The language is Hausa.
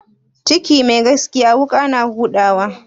Ciki mai gaskiya wuƙa na huda wa?